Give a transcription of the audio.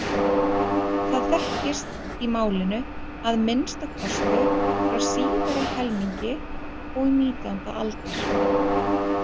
Það þekkist í málinu að minnsta kosti frá síðari helmingi og nítjánda aldar.